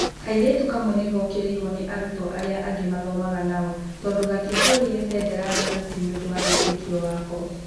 Kairĩtu kamwe nĩ gookĩrĩirũo nĩ arũtwo aria angĩ maathomaga nacio tondũ gatiahũrĩire bendera tharuti nĩ ũndũ wa wĩtĩkio wake.